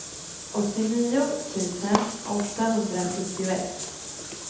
åttionio tusen åttahundrasjuttioett